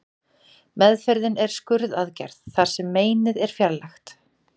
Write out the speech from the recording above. Meðferðin er skurðaðgerð þar sem meinið er fjarlægt.